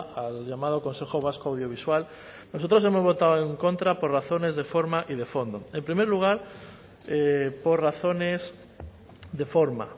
al llamado consejo vasco audiovisual nosotros hemos votado en contra por razones de forma y de fondo en primer lugar por razones de forma